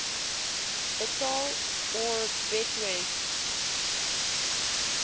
betaal or betwis